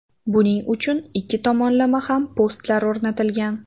Buning uchun ikki tomonda ham postlar o‘rnatilgan.